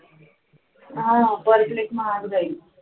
हा per plate महाग जाईल